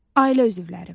Ailə üzvləri.